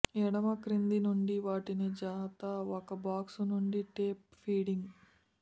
ఎడమ క్రింద నుండి వాటిని జత ఒక బాక్స్ నుండి టేప్ ఫీడింగ్